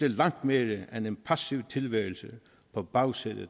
langt mere end en passiv tilværelse på bagsædet af